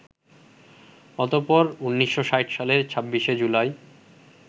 অতঃপর ১৯৬০ সালের ২৬শে জুলাই